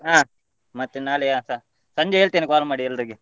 ಆ ಮತ್ತೆ ನಾಳೆ ಆ ಸ~ ಸಂಜೆ ಹೇಳ್ತೇನೆ call ಮಾಡಿ ಎಲ್ಲರಿಗೆ.